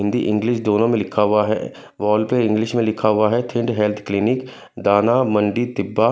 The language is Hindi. हिंदी इंग्लिश दोनो में लिखा हुआ है वाल पे इंग्लिश में लिखा हुआ है ।